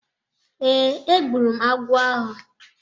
Ee, egburu m agwọ ahụ.